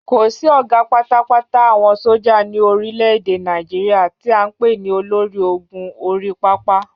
Kò sí ọ̀gá pátápátá àwọn sójà ní orile-èdè Nàìjíríà tí à ń pè ní olórí-ògùn-orí-pápá